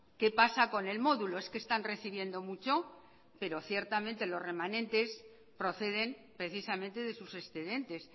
qué pasa con el módulo es que están recibiendo mucho pero ciertamente los remanentes proceden precisamente de sus excedentes